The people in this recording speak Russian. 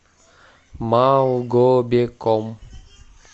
малгобеком